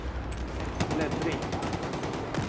bläddring